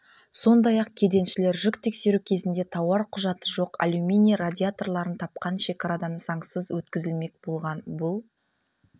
сондай-ақ кеденшілер жүк тексеру кезінде тауар құжаты жоқ алюминий радиаторларын тапқан шекарадан заңсыз өткізілмек болған бұл